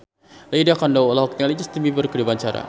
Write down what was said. Lydia Kandou olohok ningali Justin Beiber keur diwawancara